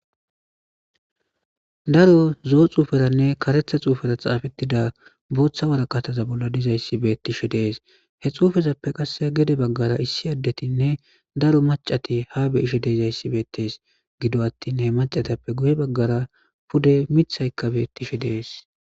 Daro zo'o xuferane karetha xufera xafetida bota woraqaza dizaysi betishe dees he xufezape qase gede bagara issi adetine daro mac'ati ha be'ishe dizaysi betes gido atin mac'atape guye bagara pude mitay betishe dees.